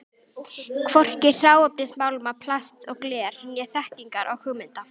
Hvorki hráefnis málma, plasts og glers né þekkingar og hugmynda.